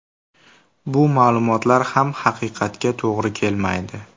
Bu ma’lumotlar ham haqiqatga to‘g‘ri kelmaydi.